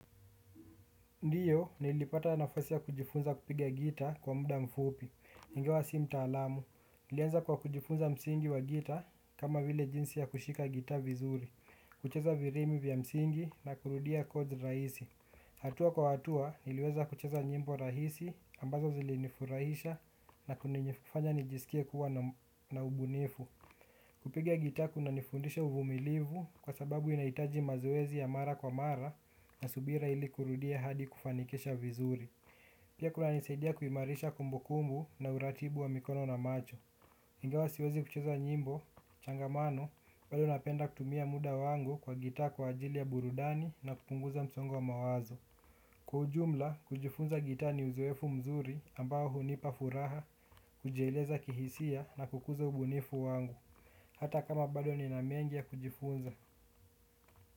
Ndio, nilipata nafasi ya kujifunza gita kwa muda mfupi ingawa sio mtaalam, nilianza kwa kujifunza msingi wa gita kama vile jinsi ya kushika gitaa vizuri, kucheza rithimi vya msingi na kurudia kodi rahisi hatua kwa hatua, niliweza kucheza nyimbo rahisi ambazo zilinifurahisha na kunifanya nijisikie kuwa na ubunifu. Kupiga gitaa kunanifundisha uvumilivu kwa sababu inahitaji mazoezi ya mara kwa mara na subira ili kurudia hadi kufanikisha vizuri. Pia kunanisidia kuhimarisha kumbukumbu na uratibu wa mikono na macho. Ingawa siwezi kucheza nyimbo changamano bado napenda kutumia muda wangu kwa gitaa kwa ajili ya burudani na kupunguza msongo wa mawazo kwa ujumla, kujifunza gitaa ni uzoefu mzuri ambao hunipa furaha, kujieleza kihisia na kukuza ubunifu wangu. Hata kama bado nina mengi ya kujifunza.